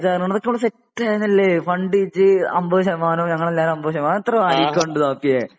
ബേജാറാകണ്ട അതൊക്കെ നമ്മളെ സെറ്റ് ആണല്ലോ ഫണ്ട് ഇജ്ജ് അമ്പത് ശതമാനം ഞങ്ങൾ എല്ലാവരും അമ്പത് ശതമാനം എത്ര നോക്കിയേ?